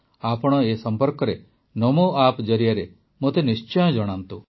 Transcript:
ଆପଣ ଏ ସମ୍ପର୍କରେ ନମୋ ଆପ୍ ଜରିଆରେ ମୋତେ ନିଶ୍ଚୟ ଜଣାନ୍ତୁ